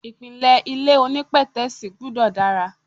Ìpìlẹ̀ ilé onípètẹ́sì gbúdọ̀ dára.